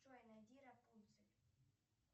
джой найди рапунцель